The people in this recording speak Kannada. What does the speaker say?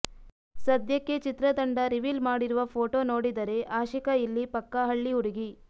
ಸದ್ಯಕ್ಕೆ ಚಿತ್ರತಂಡ ರಿವೀಲ್ ಮಾಡಿರುವ ಫೋಟೋ ನೋಡಿದರೆ ಆಶಿಕಾ ಇಲ್ಲಿ ಪಕ್ಕಾ ಹಳ್ಳಿ ಹುಡುಗಿ